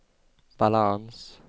balans